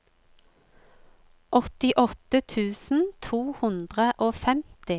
åttiåtte tusen to hundre og femti